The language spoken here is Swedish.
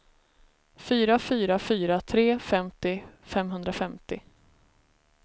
fyra fyra fyra tre femtio femhundrafemtio